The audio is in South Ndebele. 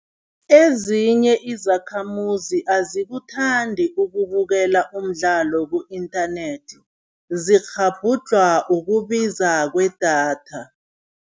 Ezinye izakhamuzi azikuthandi ukubukela umdlalo ku-internet, zikghabhudlhwa ukubiza kwedatha.